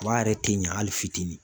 Kaba yɛrɛ te ɲa ali fitinin